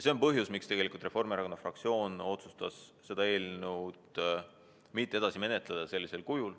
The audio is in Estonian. See on põhjus, miks Reformierakonna fraktsioon otsustas seda eelnõu sellisel kujul mitte edasi menetleda.